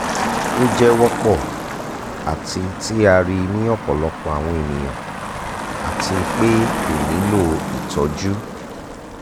o jẹ wọpọ ati ti a rii ni ọpọlọpọ awọn eniyan ati pe ko nilo itọju